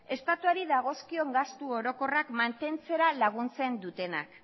estatuari dagozkion gastu orokorrak mantentzera laguntzen dutenak